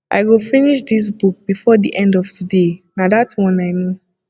i go finish dis book before the end of today na dat one i know